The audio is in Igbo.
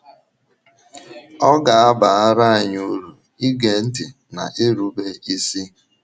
Ọ ga - abara anyị uru ige ntị na irube isi.